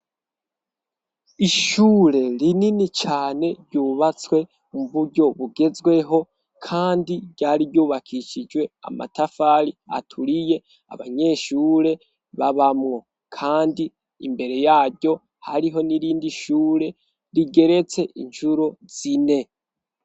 Ishure rinini cane ryubatswe mu buryo bugezweho kandi ryari ryubakishijwe amatafari aturiye abanyeshure babamwo, kandi imbere yaryo hariho n'irindi shure rigeretse incuro zine.